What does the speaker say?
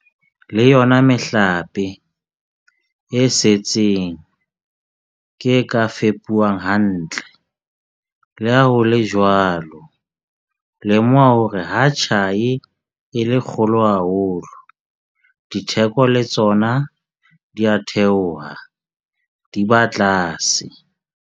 Le yona mehlape e setseng ke e ka fepuwang hantle. Le ha ho le jwalo, lemoha hore ha tjhai e le kgolo haholo, ditheko le tsona di a theoha, di ba tlase.